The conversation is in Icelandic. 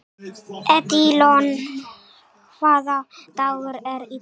Edílon, hvaða dagur er í dag?